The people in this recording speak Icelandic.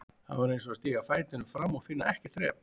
Þetta var eins og að stíga fætinum fram og finna ekkert þrep.